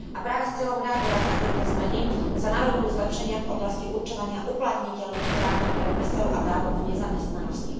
A práve s cieľom reagovať na tieto zmeny sa navrhujú zlepšenia v oblasti určovania uplatniteľných právnych predpisov a dávok v nezamestnanosti.